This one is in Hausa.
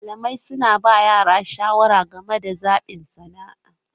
Malamai suna ba yara shawara game da zaɓin sana'a.